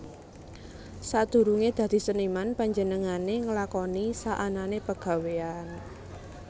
Sadurunge dadi seniman panjenengane nglakoni saanane pegawéyan